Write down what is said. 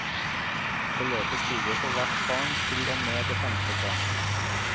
Beløpet stiger for hvert barn til og med det femte barnet.